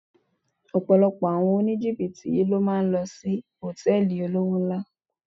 Ọ̀pọ̀lọpọ̀ àwọn oníjìbìtì yí ló máa ń lò sí Hòtẹ́lìì olówó ńlá.